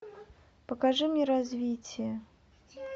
покажи мне развитие